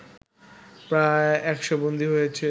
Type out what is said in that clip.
প্রায় ১০০ বন্দী রয়েছে